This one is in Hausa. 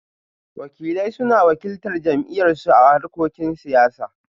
Wakilai suna wakiltar jam'iyyarsu a harkokin siyasa